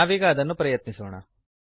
ನಾವೀಗ ಅದನ್ನು ಪ್ರಯತ್ನಿಸೋಣ